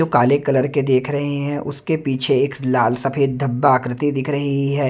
जो काले कलर के देख रहे हैं उसके पीछे एक लाल सफेद धब्बा आकृति दिख रही है।